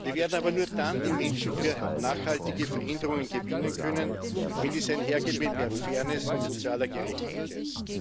Wir werden aber nur dann die Menschen für nachhaltige Veränderungen gewinnen können, wenn dies einhergeht mit mehr Fairness und sozialer Gerechtigkeit.